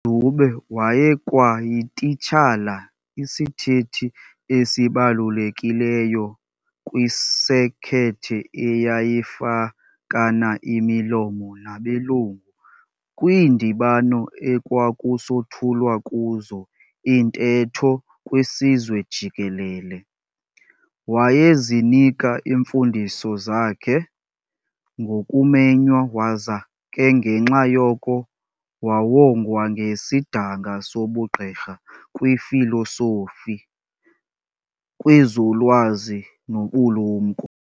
UDube wayekwayititshala, isithethi esibalulekileyo kwisekethe eyayifakana imilomo nabelungu kwiindibano ekwakusothulwa kuzo iintetho kwisizwe jikelele. Wayezinika imfundiso zakhe ngokumenywa waza ke ngenxa yoko wawongwa ngesidanga sobugqirha kwifilosofi kwezolwazi nobulumko.